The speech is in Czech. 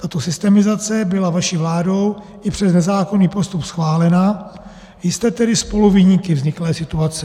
Tato systemizace byla vaší vládou i přes nezákonný postup schválena, jste tedy spoluviníky vzniklé situace.